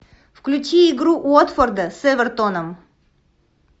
включи игру уотфорда с эвертоном